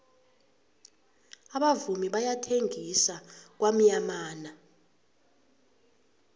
abavumi bayathengisa kwamyamana